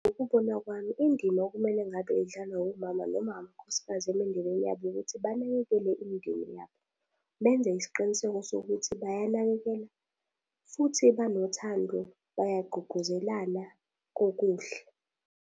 Ngokubona kwami indima okumele ngabe idlalwa omama noma amakhosikazi emindenini yabo ukuthi banakekele imindeni yabo. Benze isiqiniseko sokuthi bayanakekela, futhi banothando, bayagqugquzelana kokuhle.